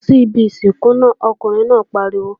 Má ṣe lọ síbi ìsìnkú náà, ọkùnrin náà pariwo!